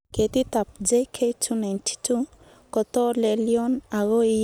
Ketitab JK292 kotolelion ago iye kilosiek sosom ak tisab